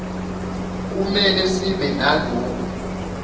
kumele sibe nalokhu